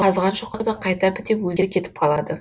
қазған шұқырды қайта бітеп өзі кетіп қалады